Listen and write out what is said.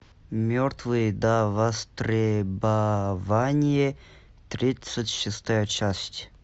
мертвые до востребования тридцать шестая часть